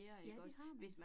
Ja, det har man